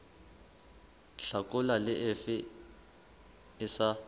hlakola le efe e sa